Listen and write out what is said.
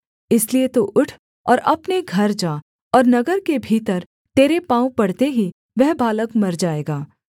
इसलिए तू उठ और अपने घर जा और नगर के भीतर तेरे पाँव पड़ते ही वह बालक मर जाएगा